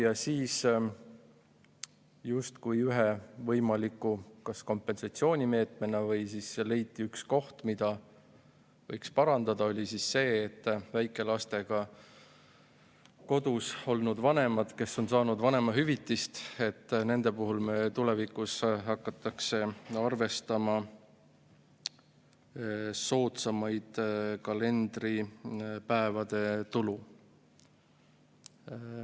Ja siis justkui ühe võimaliku kompensatsioonimeetmena leiti üks koht, mida võiks parandada: väikelastega kodus olnud vanemad, kes on saanud vanemahüvitist – nende puhul hakatakse tulevikus arvestama soodsamat kalendripäevade tulu.